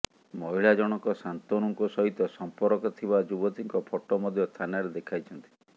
ମହିଳା ଜଣକ ଶାନ୍ତୁନୁଙ୍କ ସହିତ ସମ୍ପର୍କ ଥିବା ଯୁବତୀଙ୍କ ଫଟୋ ମଧ୍ୟ ଥାନାରେ ଦେଖାଇଛନ୍ତି